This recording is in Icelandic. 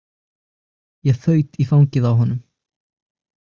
Ég þaut í fangið á honum.